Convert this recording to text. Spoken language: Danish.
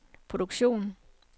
produktion